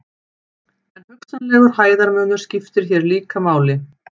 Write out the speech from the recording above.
En hugsanlegur hæðarmunur skiptir hér líka máli.